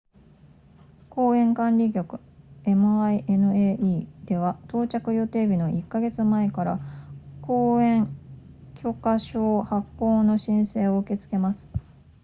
公園管理局 minae では到着予定日の1か月前から公園許可証発行の申請を受け付けます